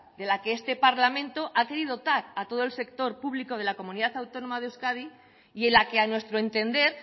de la que este parlamento ha querido dotar a todo el sector público de la comunidad autónoma de euskadi y en la que a nuestro entender